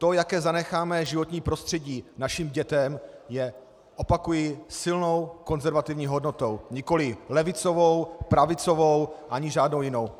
To, jaké zanecháme životní prostředí našim dětem, je, opakuji, silnou konzervativní hodnotou, nikoli levicovou, pravicovou ani žádnou jinou.